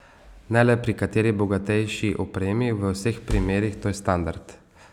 Ne le pri kateri bogatejši opremi, v vseh primerih, to je standard.